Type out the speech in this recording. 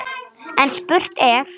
En spurt er: